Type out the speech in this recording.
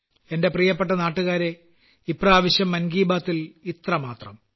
എന്റെ പ്രിയപ്പെട്ട നാട്ടുകാരേ ഇപ്രാവശ്യം മൻ കീ ബാത്തിൽ ഇത്രമാത്രം